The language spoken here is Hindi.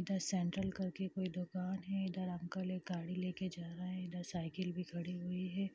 इधर सेंट्रल कर के कोई दुकान है इधर अंकल एक गाड़ी लेके जा रहे हैं इधर साइकिल भी खड़ी हुई है।